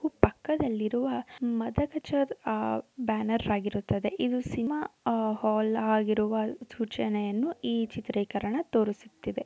ಹಾಗು ಪಕ್ಕದಲ್ಲಿ ಇರುವ ಮದಗಜ ಆ ಬ್ಯಾನರ್ ಆಗಿರುತ್ತದೆ. ಇದು ಸಿನಿಮಾ ಹಾಲ್ ಆಗಿರುವ ಸೂಚನೆಯನ್ನು ಈ ಚಿತ್ರೀಕರಣ ತೋರಿಸುತ್ತಿದೆ.